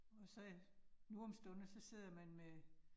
Og så øh nu om stunder, så sidder man med